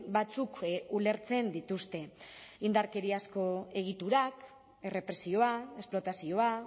batzuk ulertzen dituzte indarkeriazko egiturak errepresioa esplotazioa